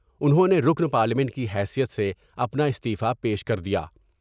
انہوں نے رکن پارلیمنٹ کی حیثیت سے اپنا استعفی پیش کر دیا ۔